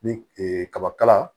Ni ee kabakala